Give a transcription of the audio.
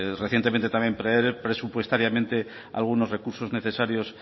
recientemente también presupuestariamente algunos recursos necesarios